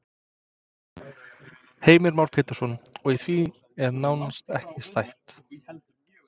Heimir Már Pétursson: Og í því er nánast ekki stætt?